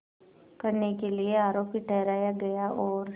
करने के लिए आरोपी ठहराया गया और